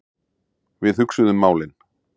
Við hugsuðum málin.